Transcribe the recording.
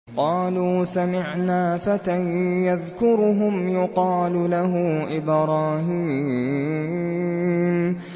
قَالُوا سَمِعْنَا فَتًى يَذْكُرُهُمْ يُقَالُ لَهُ إِبْرَاهِيمُ